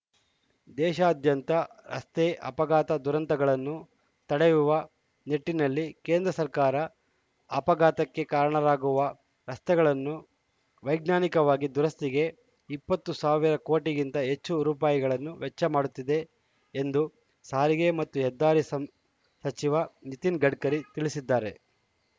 ದೇಶಾದ್ಯಂತ ರಸ್ತೆ ಅಪಘಾತ ದುರಂತಗಳನ್ನು ತಡೆಯುವ ನಿಟ್ಟಿನಲ್ಲಿ ಕೇಂದ್ರ ಸರ್ಕಾರ ಅಪಘಾತಕ್ಕೆ ಕಾರಣವಾಗುವ ರಸ್ತೆಗಳನ್ನು ವೈಜ್ಞಾನಿಕವಾಗಿ ದುರಸ್ತಿಗೆ ಇಪ್ಪತ್ತು ಸಾವಿರ ಕೋಟಿಗಿಂತ ಹೆಚ್ಚು ರೂಪಾಯಿಗಳನ್ನು ವೆಚ್ಚ ಮಾಡುತ್ತಿದೆ ಎಂದು ಸಾರಿಗೆ ಮತ್ತು ಹೆದ್ದಾರಿ ಸಂ ಸಚಿವ ನಿತಿನ್‌ ಗಡ್ಕರಿ ತಿಳಿಸಿದ್ದಾರೆ